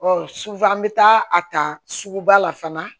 sufɛ an bɛ taa a ta suguba la fana